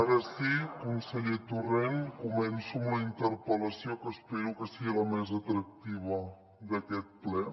ara sí conseller torrent començo amb la interpel·lació que espero que sigui la més atractiva d’aquest ple